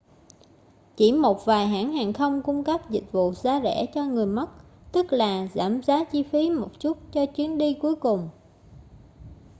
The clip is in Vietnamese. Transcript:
chỉ một vài hãng hàng không cung cấp dịch vụ giá rẻ cho người mất tức là giảm giá chi phí một chút cho chuyến di cuối cùng